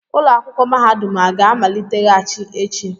Ụlọ akwụkwọ mahadum a ga-amaliteghachi echi?